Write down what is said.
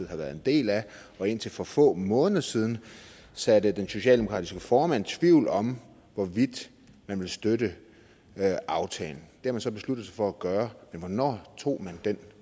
har været en del af og indtil for få måneder siden såede den socialdemokratiske formand tvivl om hvorvidt man ville støtte aftalen det har man så besluttet sig for at gøre men hvornår tog man den